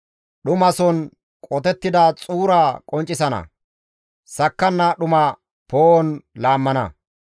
Dhumason qotettida xuura qonccisana; sakkanna dhuma poo7on laammana.